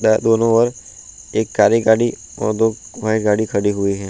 दोनो ओर एक काली गाड़ी और दो व्हाइट गाड़ी खड़ी हुई हैं।